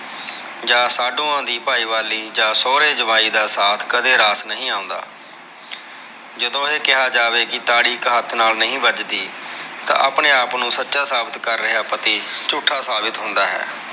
ਜਾ ਸਾਡੂਆ ਦੀ ਪਾਇਵਾਲੀ ਜਾ ਸੌਹਰੇ ਜਵਾਈ ਦਾ ਸਾਥ ਕਦੇ ਰਾਸ ਨਹੀਂ ਆਉਂਦਾ ਜਦੋਂ ਇਹ ਕਿਹਾ ਜਾਵੇ ਕੇ ਤਾਲੀ ਇਕ ਹੱਥ ਨਾਲ ਨਹੀਂ ਵੱਜਦੀ ਤਾਂ ਆਪਣੇ ਆਪ ਨੂੰ ਸੱਚਾ ਸਾਬਿਤ ਕਰ ਰਿਹਾ ਪਤੀ ਝੂਠਾ ਸਾਬਿਤ ਹੁੰਦਾ ਹੈ